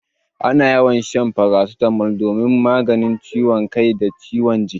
Ana yawan shan farasitamol domin magance ciwon kai da ciwon jiki.